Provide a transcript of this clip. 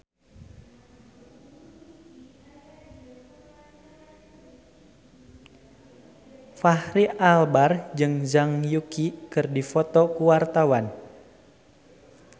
Fachri Albar jeung Zhang Yuqi keur dipoto ku wartawan